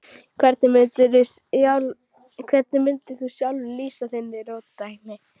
Hvernig mundir þú sjálfur lýsa þinni róttækni?